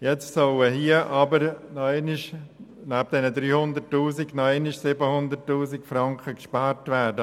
Jetzt sollen neben den vorgesehenen 300 000 Franken zusätzlich 700 000 Franken oder insgesamt 1 Mio. Franken gespart werden.